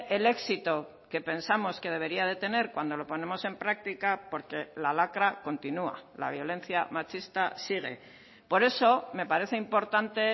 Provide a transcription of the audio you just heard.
el éxito que pensamos que debería de tener cuando lo ponemos en práctica porque la lacra continúa la violencia machista sigue por eso me parece importante